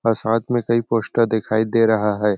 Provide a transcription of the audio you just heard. और साथ में कही पोस्टर दिखाई दे रहा है।